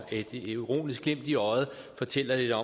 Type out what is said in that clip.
et ironisk glimt i øjet fortæller jo